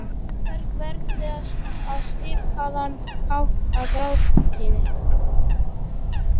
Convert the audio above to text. Móberg veðrast á svipaðan hátt og grágrýti.